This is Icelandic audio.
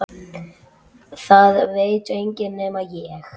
Það veit enginn nema ég.